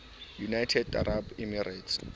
united arab emirates